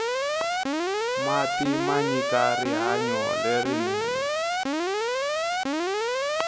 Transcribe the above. mati manyika rihanyo lerinene